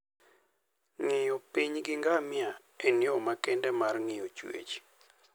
Ng'iyo piny gi ngamia en yo makende mar ng'iyo chwech.